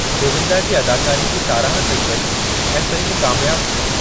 गोविंदा जी अदाकारी जी साराहु कई वेई ऐं फिल्म कामयाबु थी।